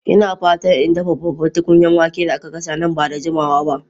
Ina fatan in dafa babban tukunyar wake da aka gasa nan ba da jimawa ba.